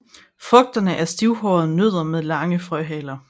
Frugterne er stivhårede nødder med lange frøhaler